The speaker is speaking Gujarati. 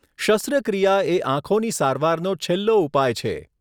શસ્ત્રક્રિયા એ આંખોની સારવારનો છેલ્લો ઉપાય છે.